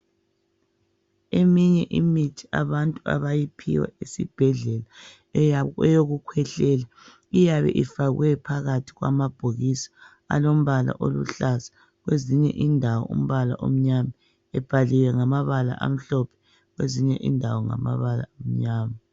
Eminye imithi abantu abayiphiwa esibhedlela eyokukhwehlela iyabe ifakwe phakathi kwamabhokisi alombala oluhlaza, kwezinye indawo umbala omnyama, ebhaliwe ngamabala amhlophe, kwezinye indawo ngamabala amnyama.